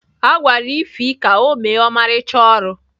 A gwara Ify ka o mee ọmarịcha ọrụ